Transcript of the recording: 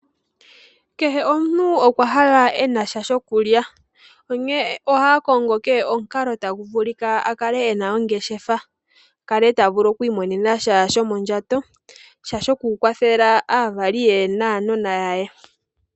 Kehe omuntu okwa hala e na sha shokulya, onkene ohaya kongo kehe omukalo tagu vulika a kale e na ongeshefa, a kale ta vulu okwiimonena sha shomondjato, sha shokukwathela aavali ye naanona ye.